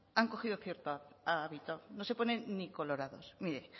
han cogido cierto hábito no se ponen ni colorados mire